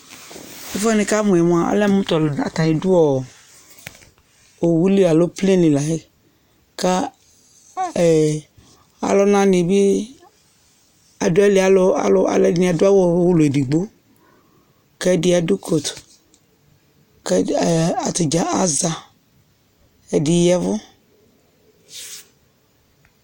Ɛfʋɛ nɩkamʋ yɛ mʋa alɛ mʋ atanɩ dʋ ɔɔ owu li alo keteke li layɛ ;ka ɛɛ alʋnanɩ bɩ adʋ ayili Alʋ alʋ alʋɛdɩnɩ adʋ awʋ ulu edigbo , k'ɛdɩ adʋ kotu ; k'ɛdɩ ɛɛ atadza aza, ɛdɩ yaɛvʋ